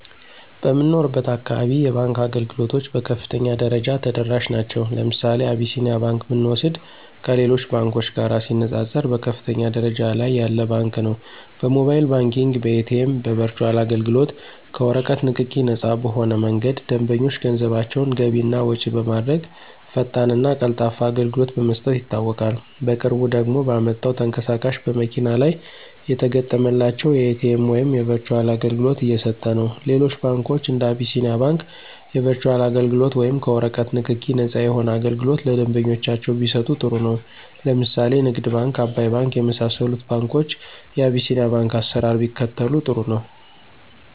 በምኖርበት አካባቢ የባንክ አገልግሎቶች በከፍተኛ ደረጃ ተደራሽ ናቸዉ። ለምሳሌ አብሲኒያ ባንክ ብንወስድ ከሌሎች ባንኮች ጋር ሲነፃፀር በከፍተኛ ደረጃ ላይ ያለ ባንክ ነው። በሞባይል ባንኪንግ፣ በኤቲኤም፣ በበርቹአል አገልግሎት፣ ከወረቀት ንክኪ ነፃ በሆነ መንገድ ደንበኞች ገንዘባቸውን ገቢ እና ወጭ በማድረግ ፈጣንና ቀልጣፋ አገልግሎት በመስጠት ይታወቃል። በቅርቡ ደግሞ ባመጣው ተንቀሳቃሽ በመኪና ላይ የተገጠመላቸው የኤቲኤም ወይም የበርቹአል አገልግሎት እየሰጠነው። ሌሎች ባንኮች እንደ አቢስኒያ ባንክ የበርቹአል አገልግሎት ወይም ከወረቀት ንክኪ ነፃ የሆነ አገልግሎት ለደንበኞቻቸው ቢሰጡ ጥሩ ነው። ለምሳሌ ንግድ ባንክ፣ አባይ ባንክ የመሳሰሉት ባንኮች የቢሲኒያን ባንክ አሰራር ቢከተሉ ጥሩ ነው።